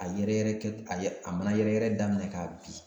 A yɛrɛ yɛrɛ kɛ a ye a mana yɛrɛ yɛrɛ daminɛ k'a bin